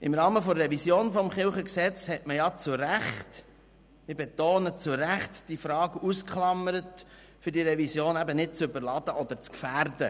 Im Rahmen der Revision des LKG hat man zu Recht – ich betone: zu Recht– diese Frage ausgeklammert, um die Revision nicht zu überladen oder zu gefährden.